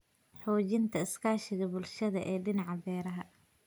Xoojinta iskaashiga bulshada ee dhinaca beeraha.